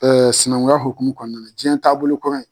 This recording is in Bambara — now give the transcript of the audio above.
sinankunya hukumu kɔnɔna na jiyɛn taabolo kura in